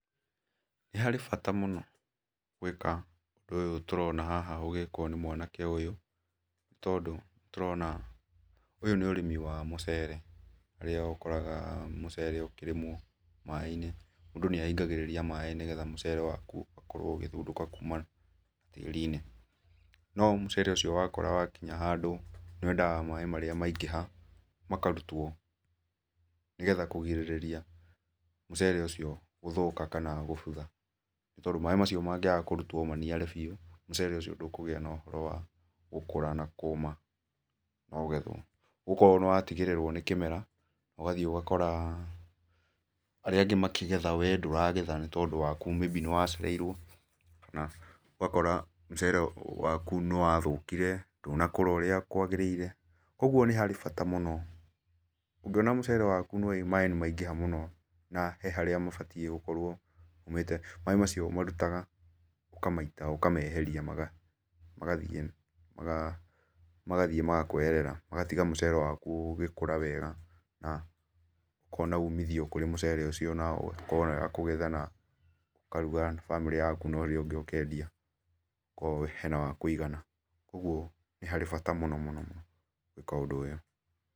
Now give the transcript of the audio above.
Nĩ harĩ bata mũno gwĩka ũndũ ũyũ tũrona haha ũgĩkwo nĩ mwanake ũyũ, nĩ tondũ nĩ tũrona ũyũ nĩ ũrĩmi wa mũcere, harĩa ũkoraga mũcere ũkĩrĩmwo maĩ-inĩ. Mundũ nĩ ahingagĩrĩria maĩ nĩgetha mũcere waku ũkorwo ũgĩthundũka kuma tĩri-inĩ. No mũcere ũcio wakũra wakinya handũ, nĩ wendaga maĩ marĩa maingĩha makarutwo, nĩgetha kũgirĩrĩria mũcere ũcio gũthũka kana gũbutha, nĩtondũ maĩ macio mangĩaga kũrutwo maniare biũ, mũcere ũcio ndũkũgĩa na ũhoro wa gũkũra na kũma na ũgethwo. Ũgũkorwo nĩ watigĩrĩrwo nĩ kĩmera, ũgathiĩ ũgakora arĩa angĩ makĩgetha wee ndũragetha nĩtondũ waku maybe nĩwacereirwo kana ũgakora mũcere waku nĩwathũkire, ndũnakũra ũrĩa kwagĩrĩire, ũguo nĩ harĩ bata mũno, ũngĩona mũcere waku maĩ nĩmaingĩha mũno na he harĩa mabatiĩ gũkorwo maumĩte, maĩ macio ũmarutaga ũkamaita ũkameheria magathiĩ magathiĩ magakweherera ,magatiga mũcere waku ũgĩkũra wega na ũkona umithio kũrĩ mũcere ũcio na ũgakorwo wĩ wa kũgetha na ũkaruga na bamĩrĩ yaku na ũrĩa ũngĩ ũkendia. okorwo he na wa kũigana. Kuoguo nĩ harĩ bata mũno mũno ma gwĩka ũndũ ũyũ.